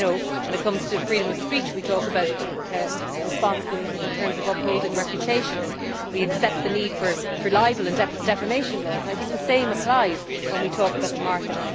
When it comes to freedom of speech we talk about responsibilities in terms of upholding reputation and we accept the need for libel and defamation laws, and I think the same applies when we talk about the market.